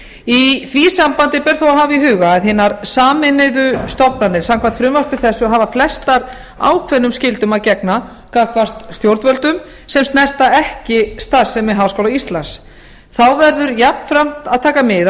í því sambandi ber þó að hafa í huga að hinar sameinuðu stofnanir samkvæmt frumvarpi þessu hafa flestar ákveðnum skyldum að gegna gagnvart stjórnvöldum sem snerta ekki starfsemi háskóla íslands þá verður jafnframt að taka mið af